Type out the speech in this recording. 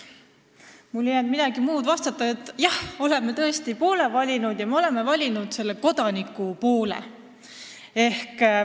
Mul ei jäänud üle muud kui vastata, et jah, me oleme tõesti poole valinud – me oleme valinud kodaniku poole.